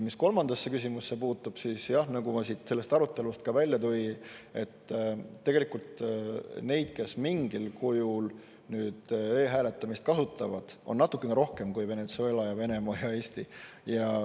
Mis kolmandasse küsimusse puutub, siis nagu ma sellest arutelust ka välja tõin, tegelikult neid, kes mingil kujul e-hääletamist kasutavad, on natukene rohkem kui Venezuela ja Venemaa ja Eesti.